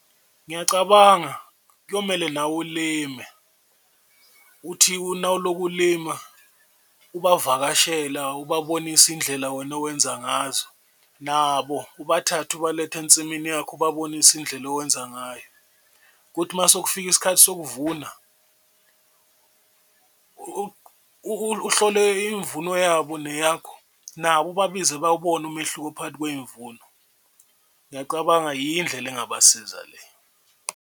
Ngiyacabanga kuyomele nawe ulime uthi nawulokhu ulima ubavakashela ubabonisa indlela wena owenza ngazo, nabo ubathathe obaletha ensimini yakho ubabonise indlela owenza ngayo kuthi uma sekufika isikhathi sokuvuna, uhlole imvuno yabo neyakho nabo ubabize bawubone umehluko phakathi kwey'mvuno. Ngiyacabanga yiyo indlela engabasiza le.